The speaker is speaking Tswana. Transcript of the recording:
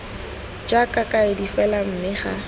jaaka kaedi fela mme ga